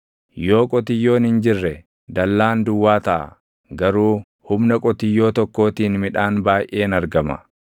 Yoo qotiyyoon hin jirre, dallaan duwwaa taʼa; garuu humna qotiyyoo tokkootiin midhaan baayʼeen argama.